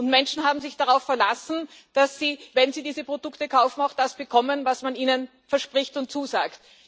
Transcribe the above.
Die Menschen haben sich darauf verlassen, dass sie, wenn sie diese Produkte kaufen, auch das bekommen, was man ihnen verspricht und zusagt.